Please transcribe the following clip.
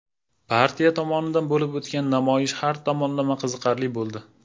Partiya tomonidan bo‘lib o‘tgan namoyish har tomonlama qiziqarli bo‘ldi.